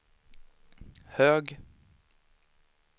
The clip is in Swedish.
hög